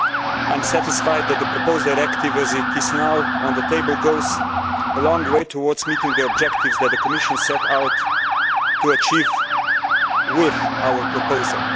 I am satisfied that the proposed directive as it is now on the table goes a long way towards meeting the objectives that the Commission set out to achieve with our proposal.